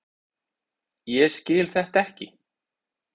Ég skil þetta ekki!